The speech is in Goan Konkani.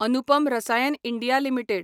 Anupam Rasayan India limited